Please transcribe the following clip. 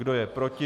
Kdo je proti?